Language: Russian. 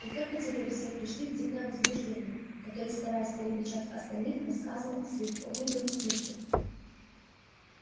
и только теперь все пришли в дикое возбуждение который стараясь перекричать остальных рассказывал о своих подвигах в битве